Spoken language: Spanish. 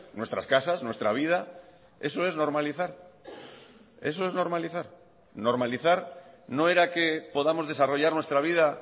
nuestras casas nuestra vida eso es normalizar eso es normalizar normalizar no era que podamos desarrollar nuestra vida